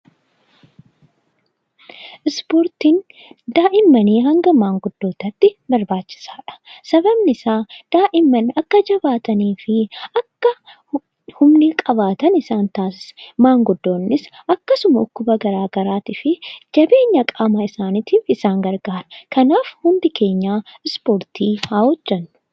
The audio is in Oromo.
Ispoortiin daa'immanii hanga maanguddootaatti barbaachisaadha. Sababni isaa daa'imman akka jabaatanii fi akka humna qabaatan isaan taassisa. Maanguddoonnis akkasuma dhukkuba garagaraa fi jabeenya qaama isaaniitiif isaan gargaara. Kanaaf hundi keenya ispoortii haa hojjennu.